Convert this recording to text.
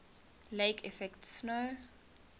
lake effect snow